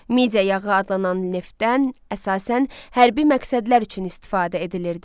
Midiya yağı adlanan neftdən əsasən hərbi məqsədlər üçün istifadə edilirdi.